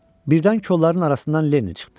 Birdən kolluğun arasından Leni çıxdı.